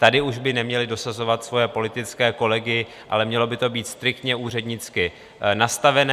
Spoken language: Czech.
Tady už by neměli dosazovat svoje politické kolegy, ale mělo by to být striktně úřednicky nastavené.